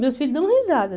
Meus filhos dão risada.